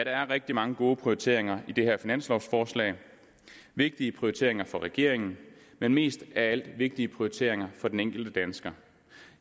er rigtig mange gode prioriteringer i det her finanslovforslag vigtige prioriteringer for regeringen men mest af alt vigtige prioriteringer for den enkelte dansker